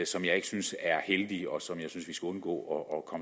som jeg ikke synes er heldige og som jeg synes vi skal undgå at